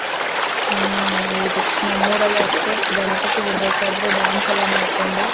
ಹ್ಮ್ ಹೌದು ನಮ್ ಊರಲ್ಲೂ ಅಷ್ಟೇ ಗಣಪತಿ ಬಿಡ್ಬೇಕಾದ್ರೆ dance ಎಲ್ಲ ಮಾಡ್ಕೊಂಡ್.